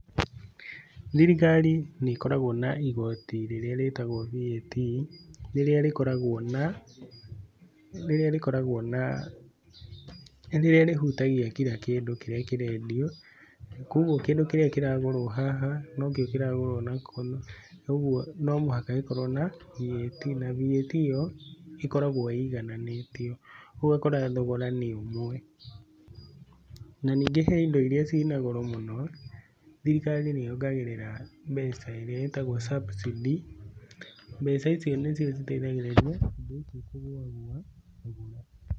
Thirikari nĩ ĩkoragwo na igoti rĩrĩa rĩtagwo VAT rĩrĩa rĩkoragwo na rĩrĩa rĩhũtagia kira kĩndũ kĩrĩa kĩrendio kũogũo kĩndũ kĩrĩa kĩragũrwo haha no kĩo kĩragũrwo kwoguo no mũhaka gĩkorwo na VAT na VAT ĩyo ĩkorwo ĩigananĩtio na thogora nĩ ũmwe na nĩngĩ he ĩndo irĩa ciĩna goro mũno thirikari nĩ yongagĩrĩra mbeca ĩrĩa ĩtagwo cabucĩdĩ mbeca icio nĩ cio ĩteĩthagĩrĩria.